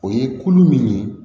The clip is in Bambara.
O ye kulu min ye